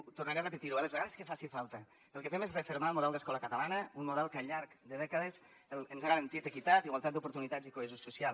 tornaré a repetir ho eh les vegades que faci falta el que fem és refermar el model d’escola catalana un model que al llarg de dècades ens ha garantit equitat igualtat d’oportunitats i cohesió social